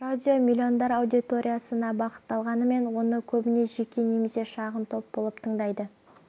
радио миллиондар аудиториясына бағытталғанымен оны көбіне жеке немесе шағын топ болып тыңдайды